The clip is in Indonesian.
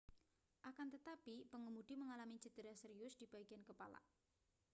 akan tetapi pengemudi mengalami cedera serius di bagian kepala